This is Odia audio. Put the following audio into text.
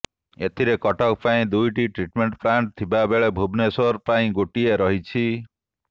ଏଥିରେ କଟକ ପାଇଁ ଦୁଇଟି ଟ୍ରିଟମେଣ୍ଟ ପ୍ଲାଣ୍ଟ ଥିବା ବେଳେ ଭୁବନେଶ୍ୱର ପାଇଁ ଗୋଟିଏ ରହିଛି